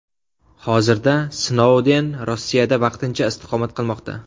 Hozirda Snouden Rossiyada vaqtincha istiqomat qilmoqda.